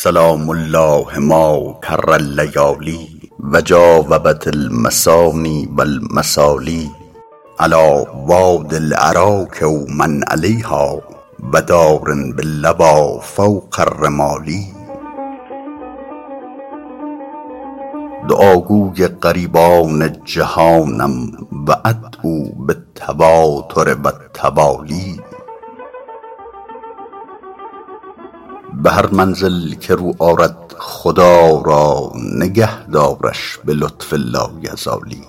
سلام الله ما کر اللیالی و جاوبت المثاني و المثالي علیٰ وادي الأراک و من علیها و دار باللویٰ فوق الرمال دعاگوی غریبان جهانم و أدعو بالتواتر و التوالي به هر منزل که رو آرد خدا را نگه دارش به لطف لایزالی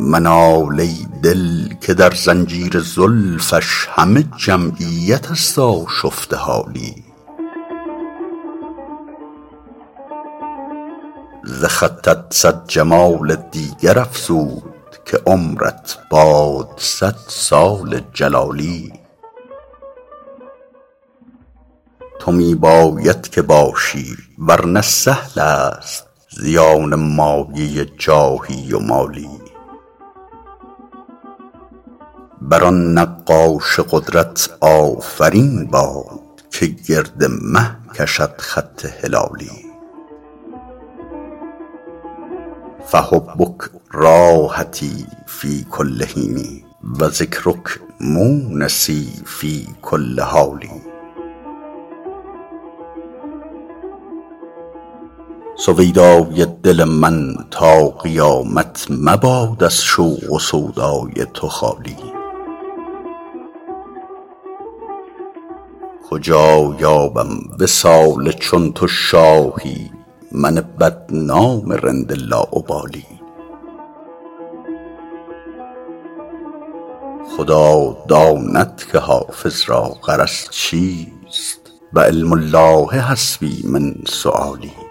منال ای دل که در زنجیر زلفش همه جمعیت است آشفته حالی ز خطت صد جمال دیگر افزود که عمرت باد صد سال جلالی تو می باید که باشی ور نه سهل است زیان مایه جاهی و مالی بر آن نقاش قدرت آفرین باد که گرد مه کشد خط هلالی فحبک راحتی فی کل حین و ذکرک مونسی فی کل حال سویدای دل من تا قیامت مباد از شوق و سودای تو خالی کجا یابم وصال چون تو شاهی من بدنام رند لاابالی خدا داند که حافظ را غرض چیست و علم الله حسبي من سؤالي